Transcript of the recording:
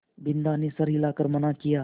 बिन्दा ने सर हिला कर मना किया